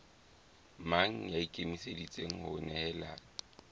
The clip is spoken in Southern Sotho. mang ya ikemiseditseng ho nehelana